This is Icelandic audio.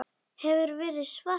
Hefur verið svart.